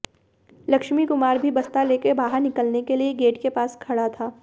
लक्ष्मी कुमार भी बस्ता लेकर बाहर निकलने के लिए गेट के पास खड़ा था